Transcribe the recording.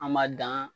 An ma dan